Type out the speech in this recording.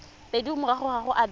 pedi morago ga go abelwa